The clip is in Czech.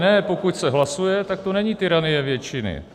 Ne, pokud se hlasuje, tak to není tyranie většiny.